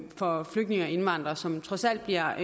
for flygtninge og indvandrere som trods alt bliver